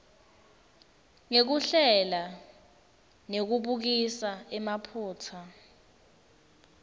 ngekuhlela nekubukisisa emaphutsa